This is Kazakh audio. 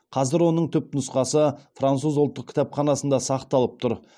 қазір оның түпнұқсасы француз ұлттық кітапханасында сақталып тұр